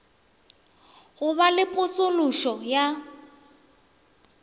go be le potšološo ya